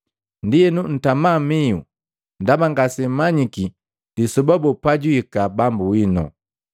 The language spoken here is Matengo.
Ndienu, ntama mihu ndaba ngasemmanyiki lisoba boo pajwihika Bambu winu.